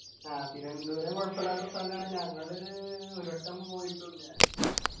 ആഹ് തിരുവനന്തപുരം കുഴപ്പല്ലാത്ത സ്ഥലാണ് ഞങ്ങള് ഒരു വട്ടം പോയിട്ടുണ്ട്